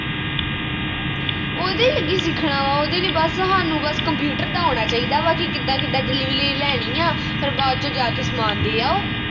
ਕੀ ਸਿੱਖਣਾ ਵਾ ਉਹਦੇ ਵਿਚ ਬਸ ਹਾਨੂੰ ਬਸ computer ਦਾ ਆਉਣਾ ਚਾਹੀਦਾ ਵਾ ਕਿ ਕਿੱਦਾਂ ਕਿੱਦਾਂ delivery ਲੈਣੀ ਆ ਫਿਰ ਬਾਅਦ ਵਿਚ ਜਾ ਕੇ ਸਮਾਨ ਦੇ ਆਓ